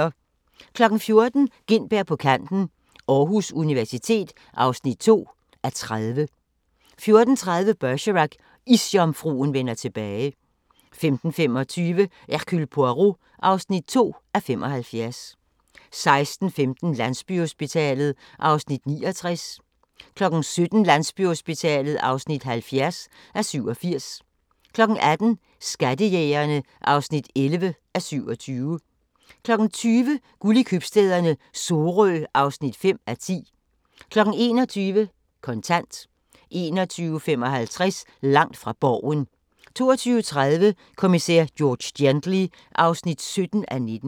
14:00: Gintberg på kanten – Aarhus Universitet (2:30) 14:30: Bergerac: Isjomfruen vender tilbage 15:25: Hercule Poirot (2:75) 16:15: Landsbyhospitalet (69:87) 17:00: Landsbyhospitalet (70:87) 18:00: Skattejægerne (11:27) 20:00: Guld i købstæderne - Sorø (5:10) 21:00: Kontant 21:55: Langt fra Borgen 22:30: Kommissær George Gently (17:19)